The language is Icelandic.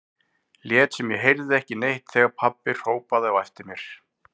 Lét sem ég heyrði ekki neitt þegar pabbi hrópaði á eftir mér.